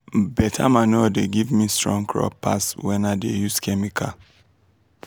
beta manure dey give me strong crop pass when i dey use chemical.